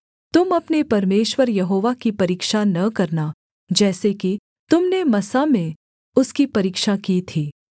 तुम अपने परमेश्वर यहोवा की परीक्षा न करना जैसे कि तुम ने मस्सा में उसकी परीक्षा की थी